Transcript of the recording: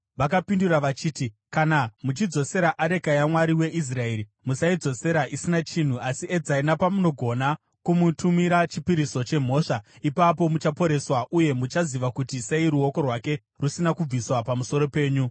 Vakapindura vachiti, “Kana muchidzosera areka yamwari weIsraeri, musaidzosera isina chinhu, asi edzai nepamunogona kumutumira chipiriso chemhosva. Ipapo muchaporeswa, uye muchaziva kuti sei ruoko rwake rusina kubviswa pamusoro penyu.”